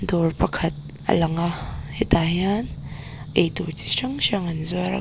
dawr pakhat a lang a hetah hian eitur chi hrang hrang an zuar a.